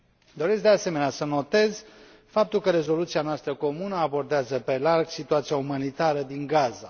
Doresc, de asemenea, să notez faptul că rezoluția noastră comună abordează pe larg situația umanitară din Gaza.